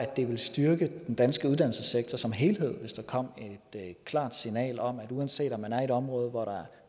det ville styrke den danske uddannelsessektor som helhed hvis der kom et klart signal om at uanset om man er i et område hvor der